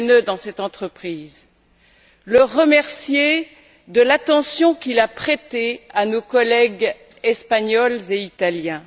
Lehne dans cette entreprise, et le remercier de l'attention qu'il a prêtée à nos collègues espagnols et italiens.